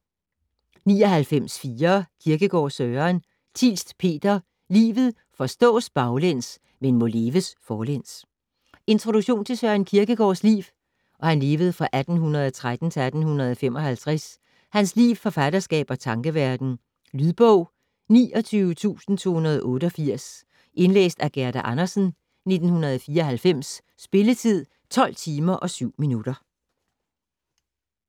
99.4 Kierkegaard, Søren Thielst, Peter: Livet forstås baglæns, men må leves forlæns Introduktion til Søren Kierkegaards (1813-1855) liv, forfatterskab og tankeverden. Lydbog 29288 Indlæst af Gerda Andersen, 1994. Spilletid: 12 timer, 7 minutter.